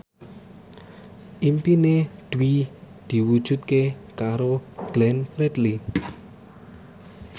impine Dwi diwujudke karo Glenn Fredly